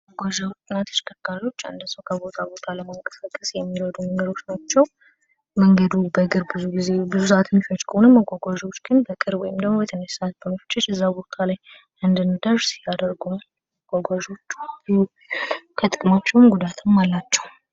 መጓጓዝዣና ተሸከርካሪዎች አንድን ሰው ከአንድ ቦታ ለማንቀሳቀስ የሚረዱ ነገሮች ናቸው። መንገዱ በእግር ብዙ ጊዜ ብዙ ሰአት የሚፈጅ ከሆነ ግን በቅርብ ወይም በትንሽ ሰዓት ውስጥ እዛ ቦታ ላይ እንደርስ ያደርጉናል። ከጥቅማቸውም ጉዳትም አላቸው።